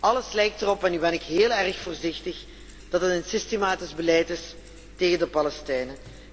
Alles lijkt erop en nu ben ik heel erg voorzichtig dat het een systematisch beleid is tegen de Palestijnen.